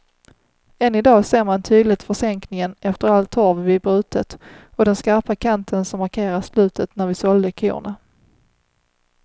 Än i dag ser man tydligt försänkningen efter all torv vi brutit och den skarpa kanten som markerar slutet när vi sålde korna.